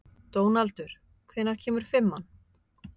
Dónaldur, hvenær kemur fimman?